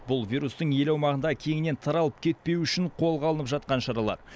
бұл вирустың ел аумағында кеңінен таралып кетпеуі үшін қолға алынып жатқан шаралар